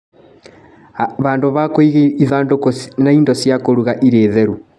Handũ ha kũiga ithandũkũ na indo cia kũruga irĩ theru.